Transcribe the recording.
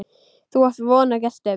Þú átt von á gestum.